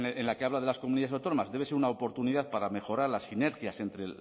en la que habla de las comunidades autónomas debe ser una oportunidad para mejorar las sinergias entre